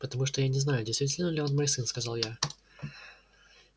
потому что я не знаю действительно ли он мой сын сказал я